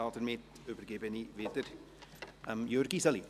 Damit übergebe ich wieder an Jürg Iseli.